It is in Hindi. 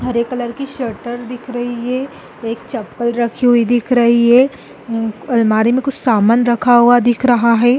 हरे कलर की शटर दिख रही है एक चप्पल रखी हुई दिख रही है अम्म उन अलमारी में कुछ सामान रखा हुआ दिख रहा है।